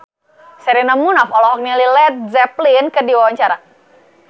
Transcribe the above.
Sherina Munaf olohok ningali Led Zeppelin keur diwawancara